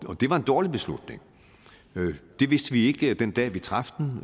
det var en dårlig beslutning det vidste vi ikke den dag vi traf den